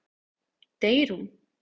Deyr hún?